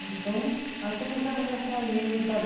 Então, aí começamos a sair, sabe?